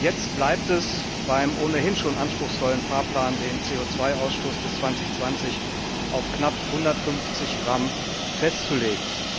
Jetzt bleibt es beim ohnehin schon anspruchsvollen Fahrplan, den CO Ausstoß bis 2020 auf knapp 150 g festzulegen.